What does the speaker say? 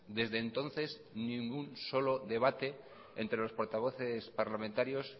desde entonces ni ningún solo debate entre los portavoces parlamentarios